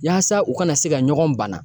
Yaasa u kana se ka ɲɔgɔn banna.